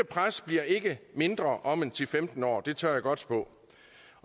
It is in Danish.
pres bliver ikke mindre om ti til femten år det tør jeg godt spå